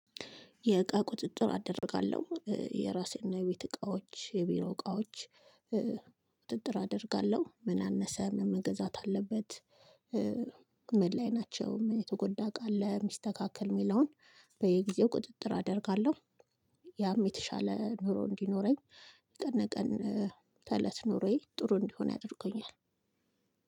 የእቃ ቁጥጥር አደርጋለሁ የራሴና የቤት እቃዎች የቢሮ እቃዎች ቁጥጥር አደርጋለሁ ምን አነሰ ምን መገዛት አለበት ምን ላይ ናቸው የተጎዳ ቃል ለሚስተካከል የሚለውን በየጊዜው ቁጥጥር አደርጋለሁ ያም የተሻለ ኑሮ እንዲኖረኝ ቀነ በቀን ከእለት ኑሮዬ ጥሩ እንዲሆን ያደርጉኛል።